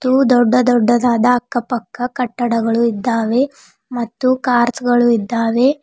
ತು ದೊಡ್ಡ ದೊಡ್ಡದಾದ ಅಕ್ಕ ಪಕ್ಕ ಕಟ್ಟಡಗಳು ಇದ್ದಾವೆ ಮತ್ತು ಕಾರ್ಚ್ ಗಳು ಇದ್ದಾವೆ.